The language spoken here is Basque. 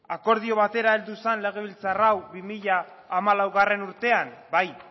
akordio batera heldu zen legebiltzar hau bi mila hamalaugarrena urtean bai